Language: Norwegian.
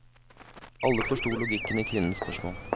Alle forstod logikken i kvinnens spørsmål.